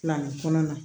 Fani kɔnɔna